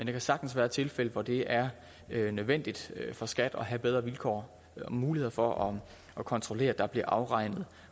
kan sagtens være tilfælde hvor det er nødvendigt for skat at have bedre vilkår og muligheder for at kontrollere om der bliver afregnet